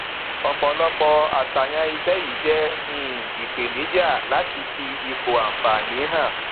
ọpọlọpọ aṣàyàn iṣẹ yìí jẹ um ìpèníjà láti fi ipò anfààní hàn